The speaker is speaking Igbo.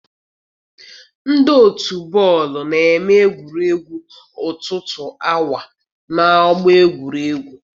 Ndị otu bọọlụ na-eme egwuregwu ọtụtụ awa n'ọgbọ egwuregwu.